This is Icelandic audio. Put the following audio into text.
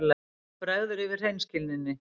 Honum bregður yfir hreinskilninni.